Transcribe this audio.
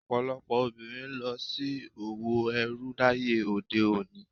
Ọ̀pọ̀lọpọ̀ obìnrin ń lọ sí òwò ẹrú láyé òde òní.